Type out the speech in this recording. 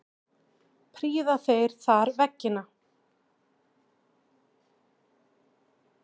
Prýða þeir þar veggina.